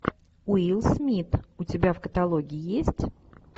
уилл смит у тебя в каталоге есть